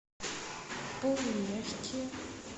полумягкие